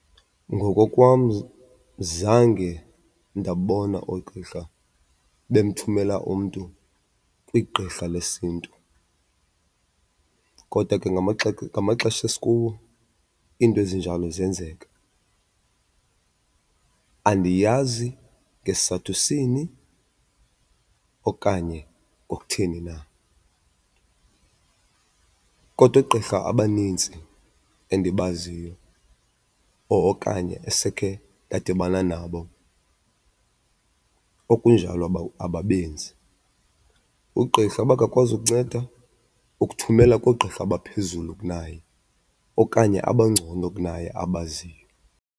Ngokokwam zange ndabona oogqirha bemthumela umntu kwigqirha lesiNtu kodwa ke ngamaxesha esikuwo iinto ezinjalo ziyenzeka. Andiyazi ngesizathu sini okanye kwakutheni na, kodwa oogqirha abaninzi endibaziyo okanye esekhe ndadibana nabo okunjalo ababenzi. Ugqirha uba akakwazi ukunceda ukuthumela koogqirha abaphezulu kunaye okanye abangcono kunaye abaziyo.